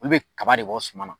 Olu be kaba de bɔ suman na